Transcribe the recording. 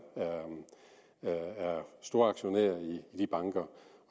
storaktionær i de banker